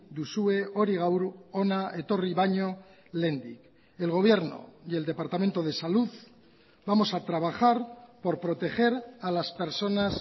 duzue hori gaur hona etorri baino lehendik el gobierno y el departamento de salud vamos a trabajar por proteger a las personas